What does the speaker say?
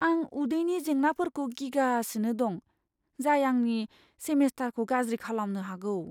आं उदैनि जेंनाफोरखौ गिगासिनो दं, जाय आंनि सेमेस्टारखौ गाज्रि खालामनो हागौ।